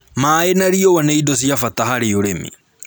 Maaĩ na riũa nĩ indo cia bata harĩ ũrĩmi